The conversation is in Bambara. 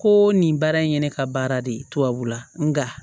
Ko nin baara in ye ne ka baara de ye tubabula nka